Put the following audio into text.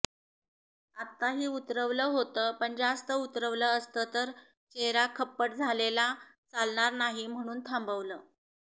आत्ताही उतरवलं होतं पण जास्त उतरवलं असतं तर चेहरा खप्पड झालेला चालणार नाही म्हणून थांबवलं